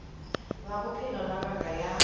la bophelo la ngaka ya